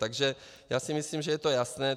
Takže já si myslím, že je to jasné.